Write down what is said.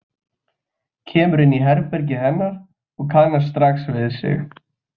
Kemur inn í herbergið hennar og kannast strax við sig.